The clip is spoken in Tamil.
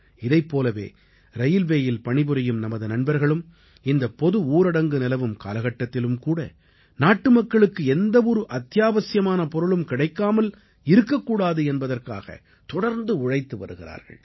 இதைப் போலவே ரயில்வேயில் பணிபுரியும் நமது நண்பர்களும் இந்தப் பொது ஊரடங்கு நிலவும் காலகட்டத்திலும்கூட நாட்டுமக்களுக்கு எந்தவொரு அத்தியாவசியமான பொருளும் கிடைக்காமல் இருக்கக்கூடாது என்பதற்காக தொடர்ந்து உழைத்து வருகிறார்கள்